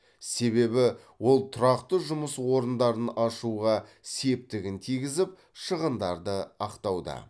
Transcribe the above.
себебі ол тұрақты жұмыс орындарын ашуға септігін тигізіп шығындарды ақтауда